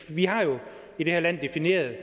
vi har jo i det her land defineret